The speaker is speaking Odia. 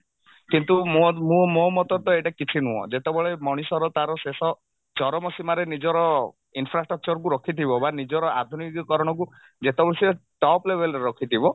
କିନ୍ତୁ ମୋ ମୁଁ ମୋ ମତରେ ତ ଏଇଟା କିଛି ନୁହଁ ଯେତେବେଳେ ମଣିଷର ତାର ଶେଷ ଚରମ ସୀମାରେ ନିଜର infrastructure କୁ ରଖିଥିବ ବା ନିଜର ଆଧୁନିକରଣକୁ ଯେତେବେଳେ ସେ top level ରେ ରଖିଥିବ